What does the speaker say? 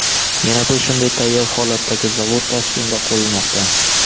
Yana bir shunday tayyor holatdagi zavod Toshkentda qurilmoqda.